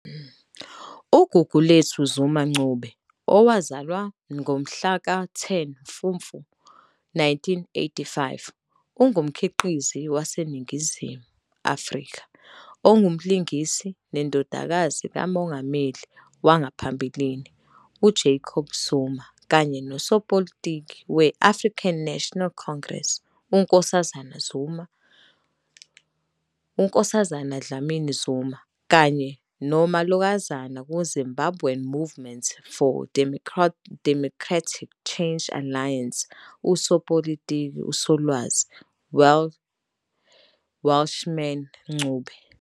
UGugulethu Zuma-Ncube, owazalwa ngomhlaka 10 Mfufu 1985, ungumkhiqizi waseNingizimu Afrika, ongumlingisi nendodakazi kaMengameli wangaphambilini uJacob Zuma kanye nosopolitiki we- African National Congress, ANC, uNkosazana Dlamini-Zuma, kanye nomalokazana ku-Zimbabwean Movement for Democratic Change Alliance usopolitiki uSolwazi Welshman Ncube.